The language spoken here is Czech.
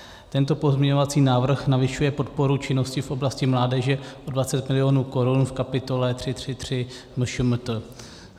Tento pozměňovací návrh navyšuje podporu činnosti v oblasti mládeže o 20 milionů korun v kapitole 333 MŠMT.